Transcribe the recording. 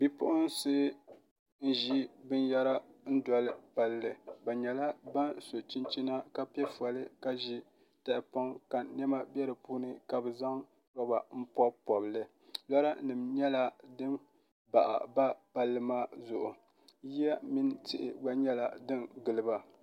Bipuɣunsi n ʒi binyɛra n dɔli palli bi nyɛla ban so chinchina ka piɛ fɔli ka ʒi tahapɔŋ ka niɛma bɛ di puuni ka bi zaŋ rɔba n pobi pobili lora nim nyɛla din baɣaba palli maa zuɣu yiya mini tihi gba nyɛla din giliba